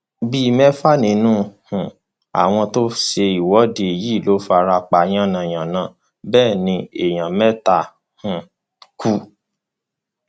bíi mẹfà nínú um àwọn tó ń ṣe ìwọde yìí ló fara pa yànnà yànnà bẹẹ ni èèyàn mẹta um ku